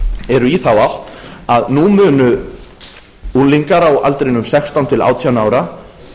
eru í þá átt að nú munu unglingar á aldrinum sextán til átján ára